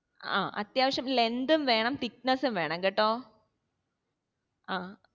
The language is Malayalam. ആ അത്യാവശ്യം length ഉം വേണം thickness ഉം വേണം കേട്ടോ